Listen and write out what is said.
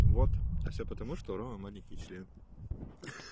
вот а все потому что у ромы маленький член